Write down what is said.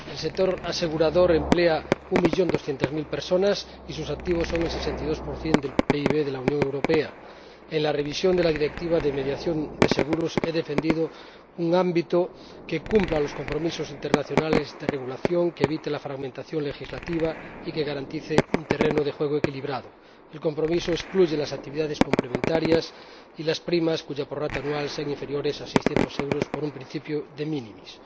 El sector asegurador emplea a 1200000 personas, y sus activos son el 62 del PIB de la Unión Europea. En la revisión de la Directiva de mediación de seguros he defendido un ámbito que cumpla los compromisos internacionales de regulación, que evite la fragmentación legislativa y que garantice un terreno de juego equilibrado. El compromiso excluye las actividades complementarias y las primas cuya prorrata anual sean inferiores a 600 euros por un principio de minimis